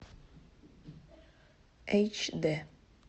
эйч д